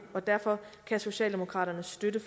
og derfor kan socialdemokraterne støtte